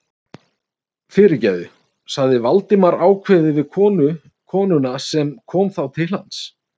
Fyrirgefðu- sagði Valdimar ákveðið við konuna sem kom þá til hans.